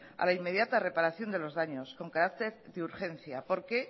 a la inmediata reparación de los daños con carácter de urgencia porque